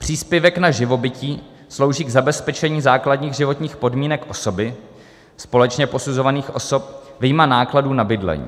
Příspěvek na živobytí slouží k zabezpečení základních životních podmínek osoby, společně posuzovaných osob, vyjma nákladů na bydlení.